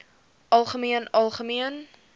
algemeen algemeen